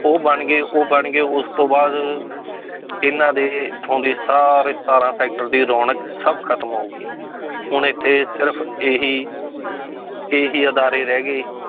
ਉਹ ਬਣ ਗਏ, ਉਹ ਬਣ ਗਏ ਉਸ ਤੋਂ ਬਾਅਦ ਇਹਨਾਂ ਦੇ ਇੱਥੋਂ ਦੇ ਸਾਰੇ ਸਤਾਰਾਂ sector ਦੀ ਰੌਣਕ ਸਭ ਖਤਮ ਹੋ ਗਈ ਹੁਣ ਇੱਥੇ ਸਿਰਫ਼ ਇਹੀ ਇਹੀ ਅਦਾਰੇ ਰਹਿ ਗਏ